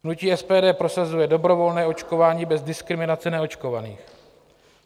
Hnutí SPD prosazuje dobrovolné očkování bez diskriminace neočkovaných.